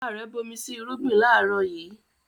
Bàbá rẹ̀ bomi sí irúgbìn láàrọ̀ yìí